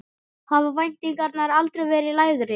Hafa væntingarnar aldrei verið lægri?